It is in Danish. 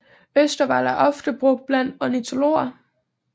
Østervold er ofte brugt blandt ornitologer